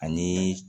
Ani